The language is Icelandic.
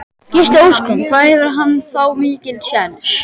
Gísli Óskarsson: Hvað hefur hann þá mikinn séns?